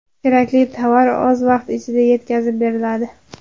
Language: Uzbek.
Kerakli tovar oz vaqt ichida yetkazib beriladi.